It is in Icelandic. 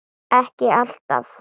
Ekki alltaf.